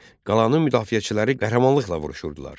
Qalanın müdafiəçiləri qəhrəmanlıqla vuruşurdular.